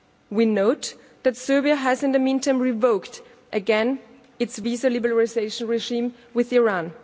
We note that Serbia has, in the meantime, revoked again its visa liberalisation regime with Iran.